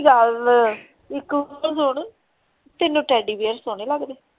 ਗੱਲ ਇਕ ਤੇ ਸੁਣਨ ਤੈਨੂੰ ਤੈਡੀ ਬੇਅਰ ਸੋਹਣੇ ਲਗਦੇ?